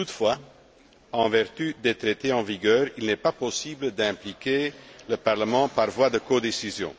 Cependant, en vertu des Traités en vigueur, il n'est pas possible d'impliquer le Parlement par voie de codécision.